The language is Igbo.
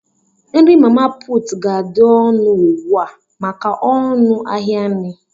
Nri mama puutụ ga-adị ọnụ ugbua maka ọnụ ahịa nri.